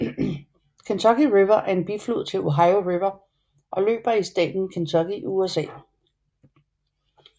Kentucky River er en biflod til Ohio River og løber i staten Kentucky i USA